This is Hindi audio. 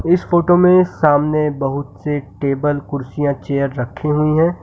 इस फोटो में सामने बहुत से टेबल कुर्सियां चेयर रखी हुई हैं।